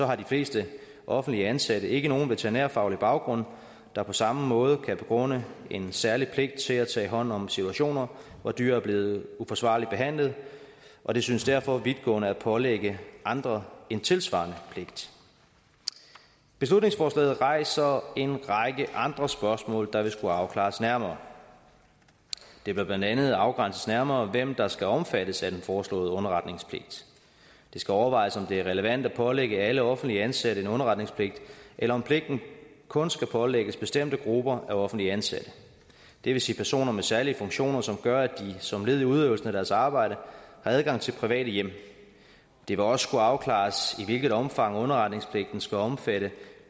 har de fleste offentligt ansatte ikke nogen veterinærfaglig baggrund der på samme måde kan begrunde en særlig pligt til at tage hånd om situationer hvor dyr er blevet uforsvarligt behandlet og det synes derfor vidtgående at pålægge andre en tilsvarende pligt beslutningsforslaget rejser en række andre spørgsmål der vil skulle afklares nærmere det bør blandt andet afgrænses nærmere hvem der skal omfattes af den foreslåede underretningspligt det skal overvejes om det er relevant at pålægge alle offentligt ansatte en underretningspligt eller om pligten kun skal pålægges bestemte grupper af offentligt ansatte det vil sige personer med særlige funktioner som gør at de som led i udøvelsen af deres arbejde har adgang til private hjem det vil også skulle afklares i hvilket omfang underretningspligten skal omfatte